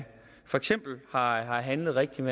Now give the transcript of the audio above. for eksempel har handlet rigtigt